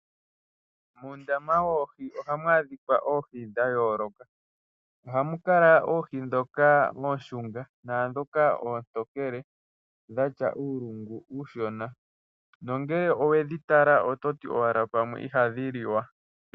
Muundama woohi ohamu dhika oohi dhayooloka . Ohamu kala oohi ndhoka oonshunga naandhoka oontonkele, dhatya uulungu uushona. Nongele owedhi tala oto ti owala pamwe ihadhi liwa.